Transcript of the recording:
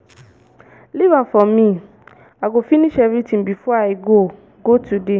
leave am for me i go finish everything before i go go today